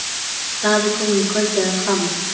Daði kom um kvöldið að Hvammi.